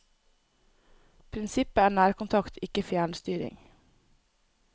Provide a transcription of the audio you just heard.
Prinsippet er nærkontakt, ikke fjernstyring.